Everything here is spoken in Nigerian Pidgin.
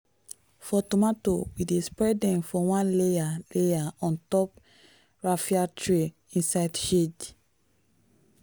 for tomato we dey spread them for one layer layer on top raffia tray inside shade.